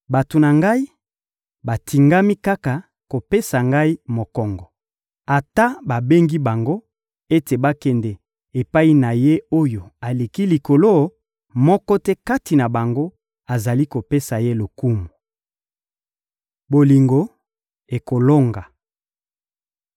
Bato na Ngai batingami kaka kopesa Ngai mokongo. Ata babengi bango ete bakende epai na Ye-Oyo-Aleki-Likolo, moko te kati na bango azali kopesa Ye lokumu. Bolingo ekolonga